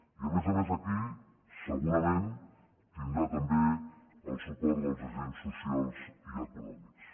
i a més a més aquí segurament tindrà també el suport dels agents socials i econòmics